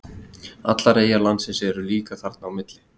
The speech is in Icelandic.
Allar eyjar landsins eru líka þarna á milli.